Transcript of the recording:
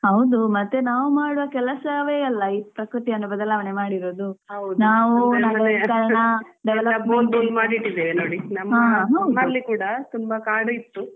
ಹೌದು ಮತ್ತೇ ನಾವ್ ಮಾಡುವ ಕೆಲಸವೆ ಅಲ್ಲ ಈ ಪ್ರಕೃತಿಯನ್ನು ಬದಲಾವಣೆ ಮಾಡಿರೋದು ನಾವು